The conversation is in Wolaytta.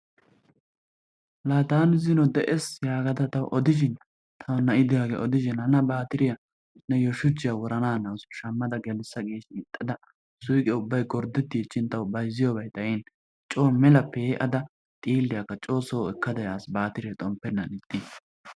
Laa taani dees gaada ta tawu odishin tawu na'i de'iyagee hana baatiriya shuchchiya wurana hanawusu shammada gigissa gin ixxada suyqqe ubbay gorddettichin tawu bayzziya uray xayn coo mela pee'ada xiiliyakka coo soo ekkada yaas baatiree xomppenaan ixxiis.